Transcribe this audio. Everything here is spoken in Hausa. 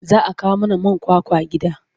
Za a kawo mana man kwakwa gida.